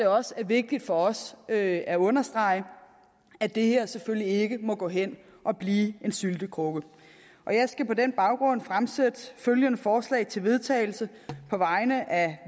også vigtigt for os at at understrege at det her selvfølgelig ikke må gå hen at blive en syltekrukke jeg skal på den baggrund fremsætte følgende forslag til vedtagelse på vegne af